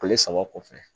Kile saba kɔfɛ